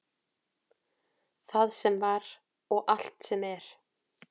Allt sem var og allt sem er.